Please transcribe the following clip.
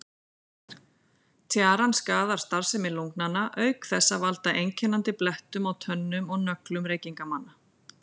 Tjaran skaðar starfsemi lungnanna auk þessa að valda einkennandi blettum á tönnum og nöglum reykingamanna.